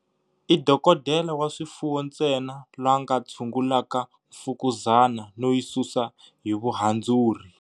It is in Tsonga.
I dokodela wa swifuwo ntsena la nga tshungulaka mfukuzana no yi susa hi vuhandzuri.